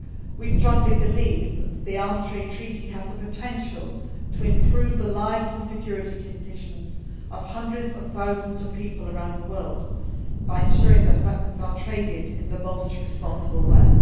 We strongly believe that the Arms Trade Treaty has the potential to improve the lives and security conditions of hundreds of thousands of people around the world, by ensuring that weapons are traded in the most responsible way.